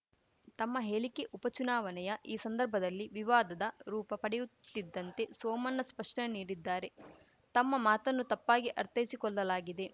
ತಮ್ಮ ಹೇಲಿಕೆ ಉಪ ಚುನಾವಣೆಯ ಈ ಸಂದರ್ಭದಲ್ಲಿ ವಿವಾದದ ರೂಪ ಪಡೆಯುತ್ತಿದ್ದಂತೆ ಸೋಮನ್ನ ಸ್ಪಷ್ಟನೆ ನೀಡಿದ್ದಾರೆ ತಮ್ಮ ಮಾತನ್ನು ತಪ್ಪಾಗಿ ಅರ್ಥೈಸಿಕೊಲ್ಲಲಾಗಿದೆ